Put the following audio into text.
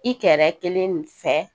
I kɛrɛ kelen fɛ